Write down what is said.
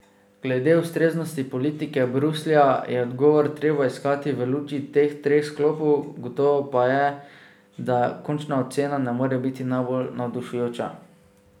Glede ustreznosti politike Bruslja je odgovor treba iskati v luči teh treh sklopov, gotovo pa je, da končna ocena ne more biti najbolj navdušujoča.